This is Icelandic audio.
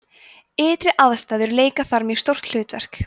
ytri aðstæður leika þar mjög stórt hlutverk